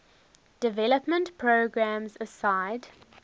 development programs aside